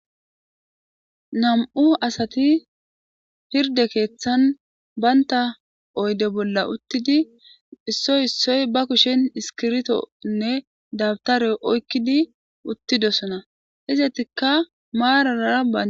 nam'u asati hirde keeththan banta oyde bolla uttidi issoy issoy ba kushen iskiritonne dabtare oykkidi uttidosona izatikka maaraara ba